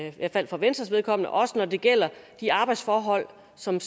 i hvert fald for venstres vedkommende også når det gælder de arbejdsforhold som